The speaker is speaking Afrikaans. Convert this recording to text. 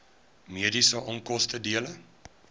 mediese onkoste dele